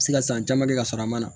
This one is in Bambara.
Se ka san caman kɛ ka sɔrɔ a ma na